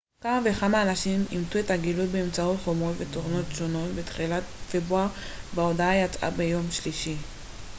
כמה וכמה אנשים אימתו את הגילוי באמצעות חומרות ותוכנות שונות בתחילת פברואר וההודעה יצאה ביום שלישי